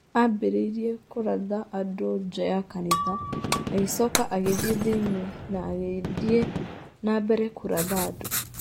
Aambĩrĩirie kũratha andũ nja ya kanitha, agĩcoka agĩthiĩ thĩinĩ na agĩthiĩ na mbere kũratha andũ.